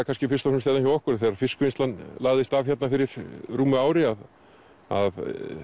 kannski fyrst og fremst hjá okkur að þegar fiskvinnslan lagðist af hér fyrir rúmu ári að það